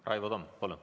Raivo Tamm, palun!